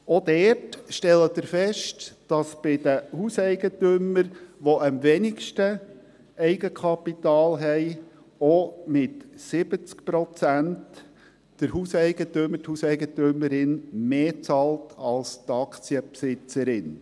Dort stellen Sie fest, dass bei den Hauseigentümern, die am wenigsten Kapital haben, der Hauseigentümer oder die Hauseigentümerin auch mit 70 Prozent mehr bezahlt als die Aktienbesitzerin.